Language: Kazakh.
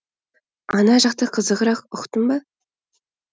ана жақта қызығырақ ұқтың ба